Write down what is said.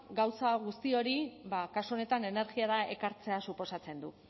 gauza guzti hori ba kasu honetan energiara ekartzea suposatzen du